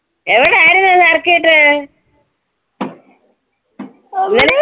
എവിടാരുന്നു circuit?